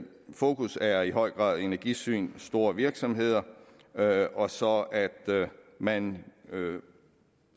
fokus er i høj grad energisyn store virksomheder og så at man